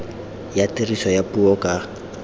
ya tiriso ya puo ka